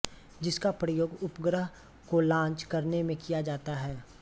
जिसका प्रयोग उपग्रह को लांच करने में किया जाता है